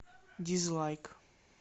дизлайк